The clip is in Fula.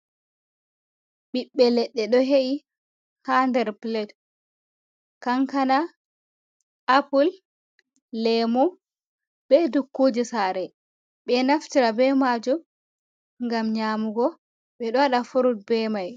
Ɓiɓɓe leɗɗe ɗo he’i ha nder pilet kankana, apul, lemu, be dukkuje sare, ɓe naftira be majum ngam nyamugo ɓeɗo waɗa furut be mai.